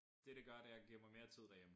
Det det gør det er at giver mig mere tid derhjemme